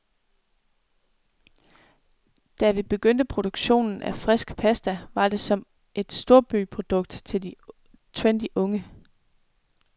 Da vi begyndte produktionen af frisk pasta, var det som et storbyprodukt til de trendy unge.